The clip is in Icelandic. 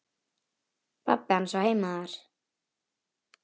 Pabbi hans á heima þar.